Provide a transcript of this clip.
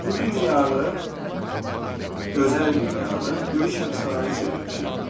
Bu dünyanı, gözəl dünyanı böyük həbsxanaya çevirmişik.